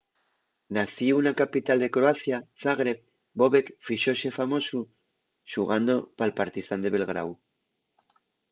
nacíu na capital de croacia zagreb bobek fíxose famosu xugando pal partizán de belgráu